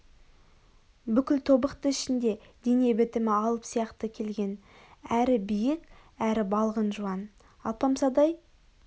бүкіл тобықты ішінде дене бітімі алып сияқты келген әрі биік әрі балғын жуан алмапсадай